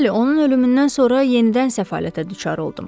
Bəli, onun ölümündən sonra yenidən səfalətə düçar oldum.